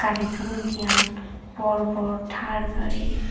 dare toyon dian bor bor thar gari.